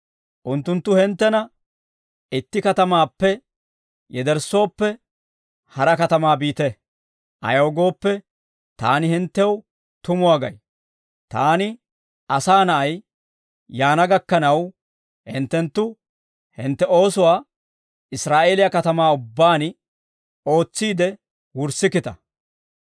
Unttunttu hinttena itti katamaappe yederssooppe, hara katamaa biite. Ayaw gooppe, taani hinttew tumuwaa gay; taani, Asaa Na'ay, yaana gakkanaw, hinttenttu hintte oosuwaa Israa'eeliyaa katamaa ubbaan ootsiide wurssikkita.